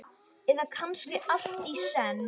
Eða kannski allt í senn?